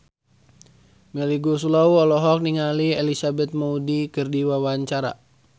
Melly Goeslaw olohok ningali Elizabeth Moody keur diwawancara